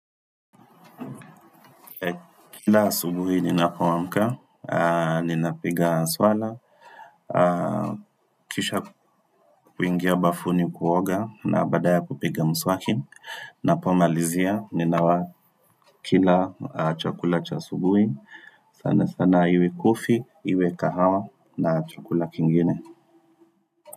Kila asubuhi ninapo amka, ninapiga swala, kisha kuingia bafuni kuoga na baada ya kupiga mswaki Napo malizia, ninawa kila chakula cha asubuhi, sana sana iwe coffee, iwe kahawa na chakula kingine.